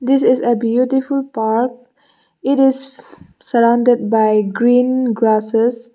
this is a beautiful park it is-s surrounded by green grasses.